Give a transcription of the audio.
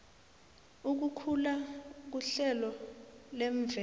ukukhula kuhlelo lemvelo